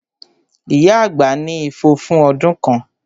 Ìyá àgbà ní ifo fún ọdún kan